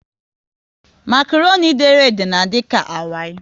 Makroni dere ede na adika awai